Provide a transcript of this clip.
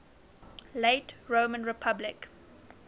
late roman republic